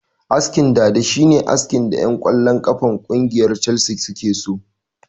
Askin dada shine askin da ƴan kwallon kafa na kungiyar calsi suke so